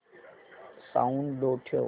sound low ठेव